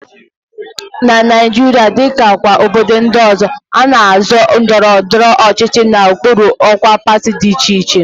Na Naijiria, dịka kwa obodo ndị ọzọ, a na-azọ ọkwa ndọrọndọrọ ọchịchị n'okpuru ọkwa pati dị iche iche